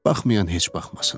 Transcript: Baxmayan heç baxmasın.